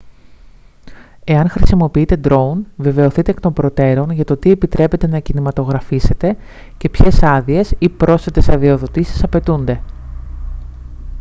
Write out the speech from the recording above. εάν χρησιμοποιείτε ντρόουν βεβαιωθείτε εκ των προτέρων για το τι επιτρέπεται να κινηματογραφήσετε και ποιες άδειες ή πρόσθετες αδειοδοτήσεις απαιτούνται